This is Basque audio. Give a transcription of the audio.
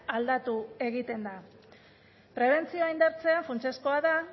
aldatu egiten da prebentzioa indartzea funtsezkoa da